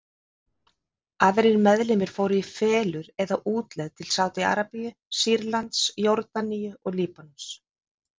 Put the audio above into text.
Aðrir meðlimir fóru í felur eða útlegð til Sádi-Arabíu, Sýrlands, Jórdaníu og Líbanons.